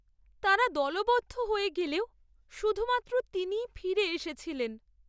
তাঁরা দলবদ্ধ হয়ে গেলেও শুধুমাত্র তিনিই ফিরে এসেছিলেন।